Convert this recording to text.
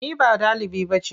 Ni ba ɗaliba ba ce.